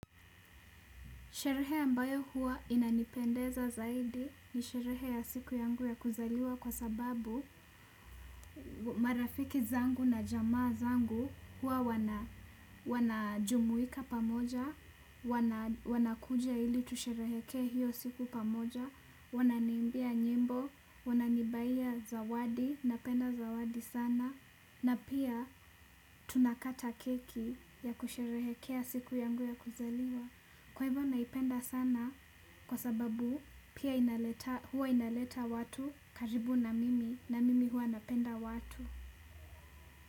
Sherehe ambayo huwa inanipendeza zaidi ni sherehe ya siku ya kuzaliwa kwa sababu marafiki zangu na jamaa zangu hua wanajumuika pamoja, wanakuja ili tusherehekee hiyo siku pamoja, wananiimbia nyimbo, wananibaiya zawadi, napenda zawadi sana, na pia tunakata keki ya kusherehekea ya siku yangu ya kuzaliwa. Kwa hivyo naipenda sana kwa sababu pia huwa inaleta watu karibu na mimi na mimi huwa napenda watu.